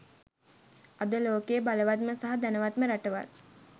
අද ලෝකයේ බලවත්ම සහ ධනවත්ම රටවල්